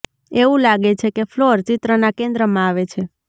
એવું લાગે છે કે ફ્લોર ચિત્રના કેન્દ્રમાં આવે છે